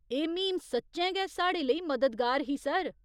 एह् म्हीम सच्चैं गै साढ़े लेई मददगार ही, सर।